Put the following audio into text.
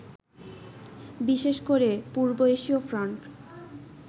বিশেষ করে পূর্ব এশীয় ফন্ট